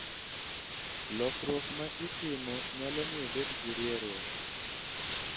Lokruok ma itimo nyalo miyo ibed gi rieruok.